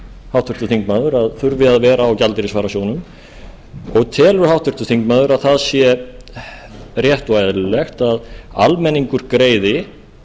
háttvirtur þingmaður að þurfi að vera á gjaldeyrisvarasjóðnum og telur háttvirtur þingmaður að það sé rétt og eðlilegt að almenningur greiði